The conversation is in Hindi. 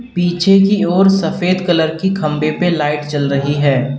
पीछे की ओर सफेद कलर की खंबे पे लाइट जल रही है।